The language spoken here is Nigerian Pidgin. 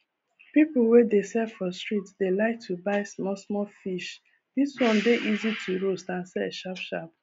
peolpe wey dey sell for street dey like to buy small small fish this ones dey easy to roast and sell sharp sharp